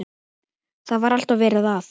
Það var alltaf verið að.